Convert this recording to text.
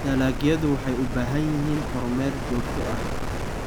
Dalagyadu waxay u baahan yihiin kormeer joogto ah.